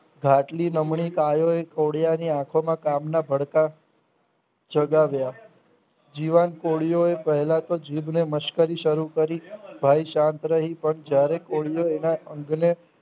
ઘાટીલી નમણી પામેલી ખોડિયાની આંખોમાં કાનના ભડકા જગાવ્યા જીવન કોડિયો ફેલાતો જીભને મસ્કરી શરુ કરી ભય શાંત રહી પણ જયારે બોલ્યો એના અંગને